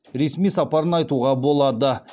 ресми сапарын айтуға болады